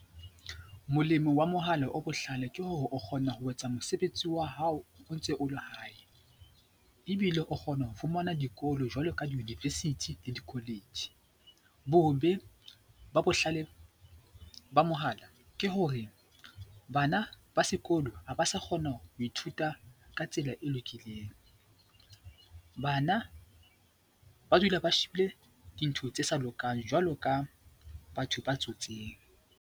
Molemo wa mohala o bohlale ke hore o kgona ho etsa mosebetsi wa hao o ntse o le hae ebile o kgona ho fumana dikolo jwalo ka di-university le di-college. Bobe ba bohlale ba mohala ke hore bana ba sekolo ha ba sa kgona ho ithuta ka tsela e lokileng. Bana ba dula ba shebile dintho tse sa lokang jwalo ka batho ba tsotseng.